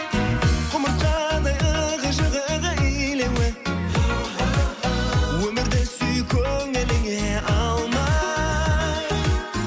құмырсқадай ығы жығы илеуі оу өмірді сүй көңіліңе алмай